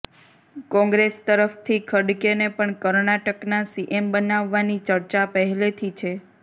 કોંગ્રેસ તરફથી ખડગેને પણ કર્ણાટકના સીએમ બનાવવાની ચર્ચા પહેલેથી છે